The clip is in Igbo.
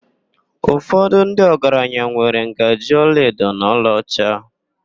Ụfọdụ ndị ọgaranya nwere ngaji olaedo na olaọcha.